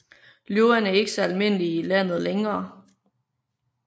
Løverne er ikke så almindelige i landet længere